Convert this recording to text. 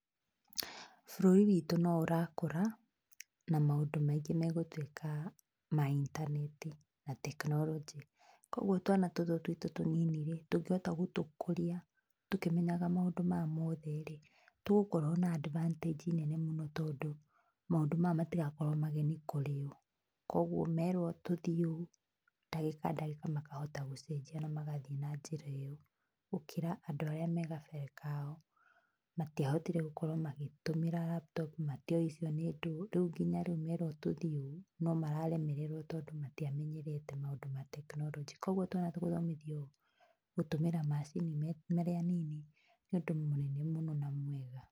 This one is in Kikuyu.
Bũrũri witũ no ũrakũra, na maũndũ maingĩ megũtuĩka ma intaneti na tekinoronjĩ. Koguo twana tũtũ tuitũ tũnini-rĩ tũngĩhota gũtũkũria tũkĩmenyaga maũndũ maya mothe-rĩ tũgũkorwo na advantages nene mũno tondũ, maũndũ maya matĩgakorwo mageni kũrĩũ. Koguo merwo tũthiĩ ũũ ndagĩka ndagĩka makahota gũcenjia na magathiĩ na njĩra ĩyo ,Gũkĩra andũ arĩa me gabere kao, matiahotire gũkorwo magĩtũmĩra laptop matĩũĩ icio nĩ ndũũ, rĩu nginya rĩu merwo tũthiĩ ũũ no mararemererwo tondũ matiamenyerete maũndũ ma tekinoronjĩ. Koguo twana tũgũthomithio gũtũmĩra macini marĩ anini nĩ ũndũ mũnene mũno na mwega.